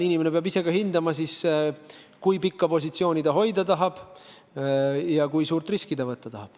Inimene peab ise läbi mõtlema, kui pikka positsiooni ta hoida tahab ja kui suurt riski ta võtta tahab.